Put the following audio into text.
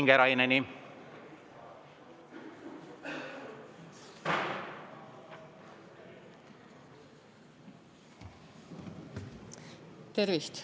Tervist!